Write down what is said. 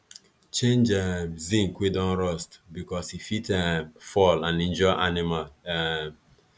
change um zinc wey don rust because e fit um fall and injure animal um